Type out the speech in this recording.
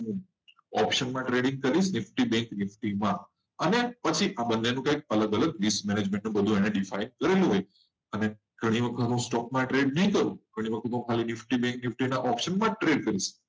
option trading કરી એટલે FD અને પછી આ બંનેનું અલગ અલગ define કરેલું હોય. અને ગઈ વખત trade stock માં trade નહી કરો. ઓપ્શનમાં જ trade કરીશ